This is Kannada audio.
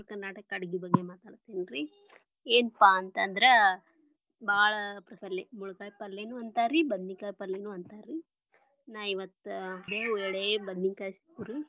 Uttara Karnataka ಅಡಗಿ ಬಗ್ಗೆ ಮಾತಾಡತೇನರಿ ಏನಪಾ ಅಂತಂದ್ರ ಬಾಳ ಪ್ರಚಲಿತ ಮುಳಗಾಯಿ ಪಲ್ಲೆನು ಅಂತಾರಿ ಬದನಿಕಾಯಿ ಪಲ್ಲೆನು ಅಂತಾರಿ ನಾ ಇವತ್ತ ಎಳೇ ಬದನಿಕಾಯಿ ಸಿಕ್ವು ರೀ.